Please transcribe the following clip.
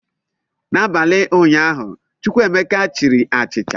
N'abalị ụnyaahụ, Chukwuemeka chiri achịcha.